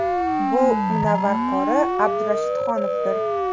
Bu Munavvar qori Abdurashidxonovdir.